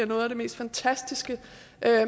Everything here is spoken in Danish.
noget af det mest fantastiske